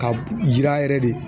Ka yira yɛrɛ de